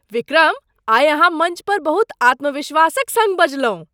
विक्रम! आइ अहाँ मञ्च पर बहुत आत्मविश्वासक सङ्ग बजलहुँ।